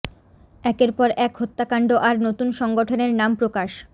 একের পর এক হত্যাকাণ্ড আর নতুন সংগঠনের নাম প্রকাশ